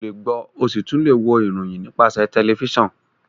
olè gbo o sí tún lẹ wò ìròyìn nípasẹ tẹlifísàn